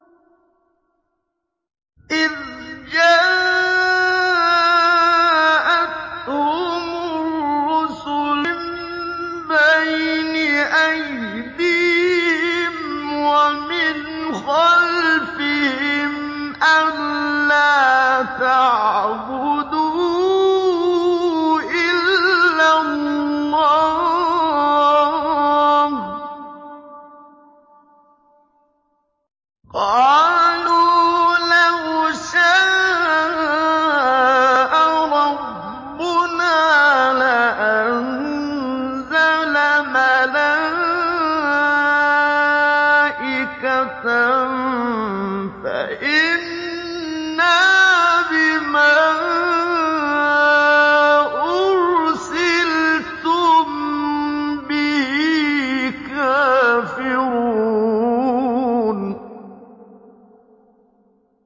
إِذْ جَاءَتْهُمُ الرُّسُلُ مِن بَيْنِ أَيْدِيهِمْ وَمِنْ خَلْفِهِمْ أَلَّا تَعْبُدُوا إِلَّا اللَّهَ ۖ قَالُوا لَوْ شَاءَ رَبُّنَا لَأَنزَلَ مَلَائِكَةً فَإِنَّا بِمَا أُرْسِلْتُم بِهِ كَافِرُونَ